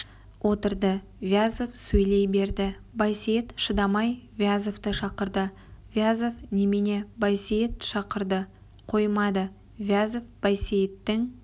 отырды вязов сөйлей берді байсейіт шыдамай вязовты шақырды вязов немене байсейіт шақырды қоймады вязов байсейіттің